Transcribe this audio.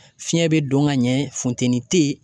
Fiɲɛ bɛ don ka ɲɛ funteni te yen